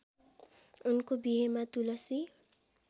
उनको बिहेमा तुलसी